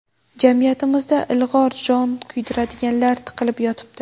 Jamiyatimizda ilg‘orlar, jon kuydiradiganlar tiqilib yotibdi.